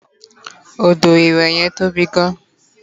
odo iwe yen tobi gan